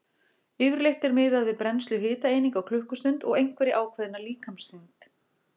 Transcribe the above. Yfirleitt er miðað við brennslu hitaeininga á klukkustund og einhverja ákveðna líkamsþyngd.